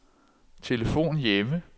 telefon hjemme